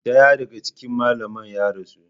Daya daga cikin malaman ya rasu.